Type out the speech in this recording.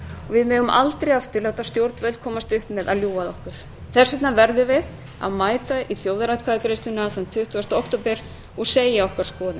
við megum aldrei aftur láta stjórnvöld komast upp með að ljúga að okkur þess vegna verðum við að mæta í þjóðaratkvæðagreiðsluna þann tuttugasta október og segja okkar skoðun